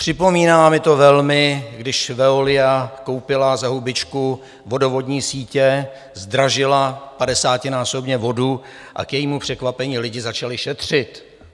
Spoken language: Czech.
Připomíná mi to velmi, když Veolia koupila za hubičku vodovodní sítě, zdražila padesátinásobně vodu a k jejímu překvapení lidi začali šetřit.